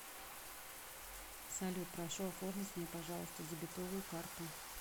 салют прошу оформить мне пожалуйста дебетовую карту